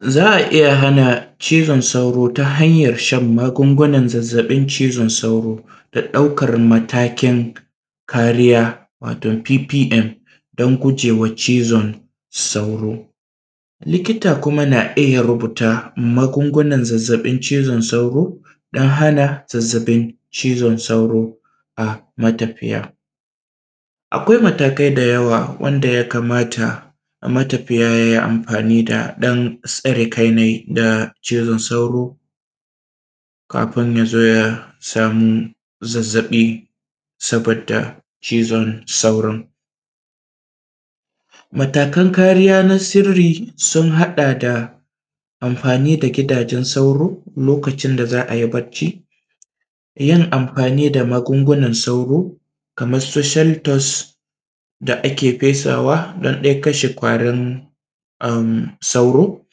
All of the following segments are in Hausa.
Za a iya hana cizon sauro ta hanyar shan magungunan zazzabin cizon sauro, da ɗaukar matakin kariya wato PPM domin guje wa cizon sauro, likita kuma na iya rubuta magungunan zazzabin cizon sauro, domin hana zazzabin cizon sauro a matafiya. Akwai mataka da yawa, wanda ya kamata matafiya ya yi amfani da su, don tsare kansa da cizon sauro kafin ya zo ya samu zazzabi sabboda cizon sauro. matakan kariya na sirri sun haɗa da: amfani da gidajen sauro lokacin da za a yi bacci, yin amfani da magungunan sauro, kamar su sheltos, da ake fesawa domin kashe ƙwarin sauro,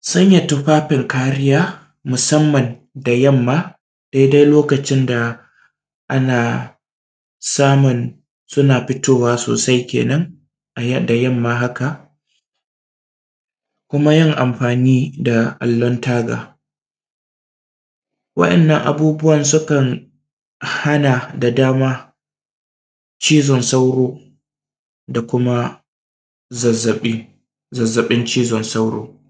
sanya tufafin kariya musamman da yamma dai-dai lokacin da ana samun suna fitowa sosai kenan a yanyin ma haka, da kuma yin amfani da allon taga waɗannan abubbuwa ma sukan hana da yawa cizon sauro, da kuma zazzabi zazzabin cizon sauro.